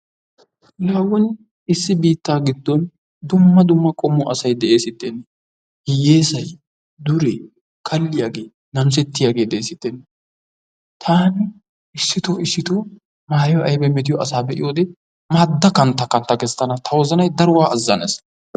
Laa woni issi biittaa giddon dumma dumma asay deesittenne, hiyyeesay, duree, kalliyagee, namisettiyagee deesittennee. Taani issito issito maayoy aybay metiyo asaa be'iyode maadda kantta kantta gees tana. Ta wozanay keehi azzanees.